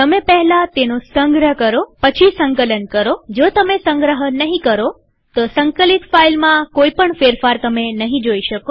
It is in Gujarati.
તમે પહેલા તેનો સંગ્રહ કરો પછી સંકલન કરોજો તમે સંગ્રહ નહીં કરો તો સંકલિત ફાઈલમાં કોઈ પણ ફેરફાર તમે નહીં જોઈ શકો